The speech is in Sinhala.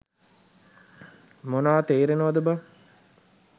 මොනා තේරෙනවද බන්.